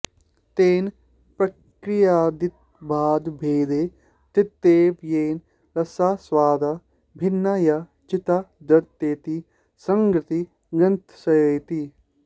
तेन प्रकृत्यादित्वादभेदे तृतीयव येन रसास्वादा भिन्ना या चित्ताद्रतेति सङ्गतिः ग्रन्थस्येति